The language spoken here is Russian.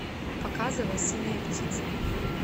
показывай синяя птица